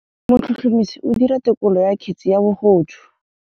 Motlhotlhomisi o dira têkolô ya kgetse ya bogodu.